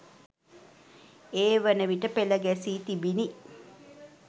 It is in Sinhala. ඒ වන විට පෙළ ගැසීි තිබිණි.